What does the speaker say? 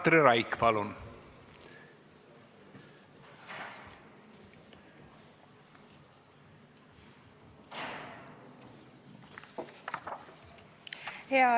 Katri Raik, palun!